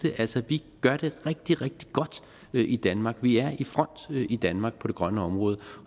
altså vi gør det rigtig rigtig godt i danmark vi er i front i danmark på det grønne område